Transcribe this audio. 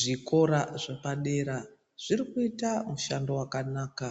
Zvikora zvepadera zvirikuita mushando wakanaka